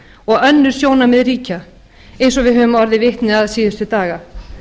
og önnur sjónarmið ríkja eins og við höfum orðið vitni að síðustu daga